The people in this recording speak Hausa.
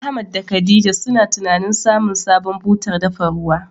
Ahmad da khadija suna tunanin samun sabon butar dafa ruwa.